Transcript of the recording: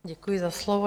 Děkuji za slovo.